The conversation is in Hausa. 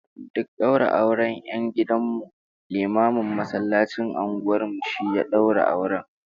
Duk daura auren 'yan gidan mu, limamin masallacin unguwar mu shi ya daura auren